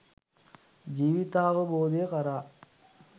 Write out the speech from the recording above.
ජීවිතාවබෝධය කරා